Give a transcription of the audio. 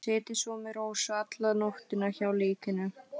Setið svo með Rósu alla nóttina hjá líkinu.